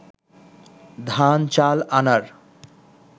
ধান-চাল আনার